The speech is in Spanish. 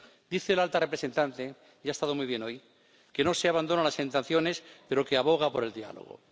Dice la alta representante —y ha estado muy bien hoy— que no se abandonan las sanciones, pero que aboga por el diálogo.